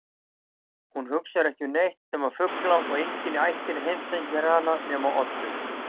Hún hugsar ekki um neitt nema fugla og enginn í ættinni heimsækir hana nema Oddur.